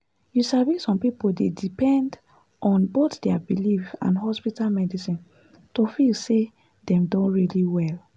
you sabi some people dey depend on both their belief and hospital medicine to feel say dem don really well.